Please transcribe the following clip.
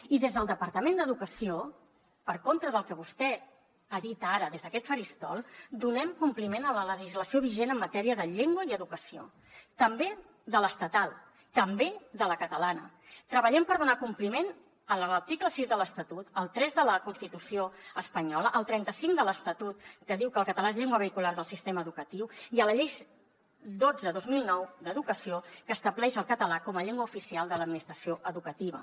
i des del departament d’educació per contra del que vostè ha dit ara des d’aquest faristol donem compliment a la legislació vigent en matèria de llengua i educació també de l’estatal també de la catalana treballem per donar compliment a l’article sis de l’estatut al tres de la constitució espanyola al trenta cinc de l’estatut que diu que el català és llengua vehicular del sistema educatiu i a la llei dotze dos mil nou d’educació que estableix el català com a llengua oficial de l’administració educativa